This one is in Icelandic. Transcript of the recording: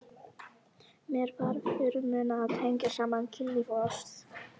Mér var fyrirmunað að tengja saman kynlíf og ást.